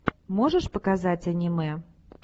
можешь показать аниме